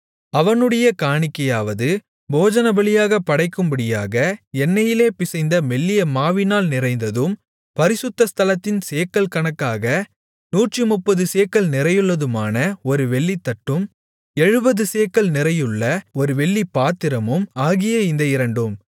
அவனுடைய காணிக்கையாவது போஜனபலியாகப் படைக்கும்படியாக எண்ணெயிலே பிசைந்த மெல்லிய மாவினால் நிறைந்ததும் பரிசுத்த ஸ்தலத்தின் சேக்கல் கணக்காக நூற்றுமுப்பது சேக்கல் நிறையுள்ளதுமான ஒரு வெள்ளித்தட்டும் எழுபது சேக்கல் நிறையுள்ள ஒரு வெள்ளிப்பாத்திரமும் ஆகிய இந்த இரண்டும்